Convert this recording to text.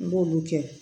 N b'olu kɛ